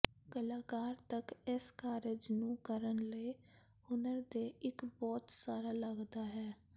ਕਲਾਕਾਰ ਤੱਕ ਇਸ ਕਾਰਜ ਨੂੰ ਕਰਨ ਲਈ ਹੁਨਰ ਦੇ ਇੱਕ ਬਹੁਤ ਸਾਰਾ ਲੱਗਦਾ ਹੈ